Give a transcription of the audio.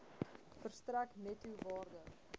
verstrek netto waarde